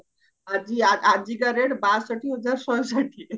ଆଜି ଆଜିକା rate ବାଷଠି ହଜାର ଶହେ ଷାଠିଏ